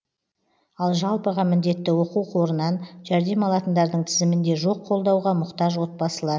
ал жалпыға міндетті оқу қорынан жәрдем алатындардың тізімінде жоқ қолдауға мұқтаж отбасылар